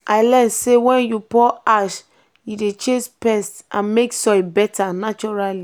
i learn say when you pour ash e dey chase pest and make soil better naturally.